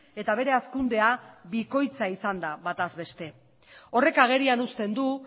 eta bere hazkundea bikoitza izan da bataz beste horrek agerian uzten du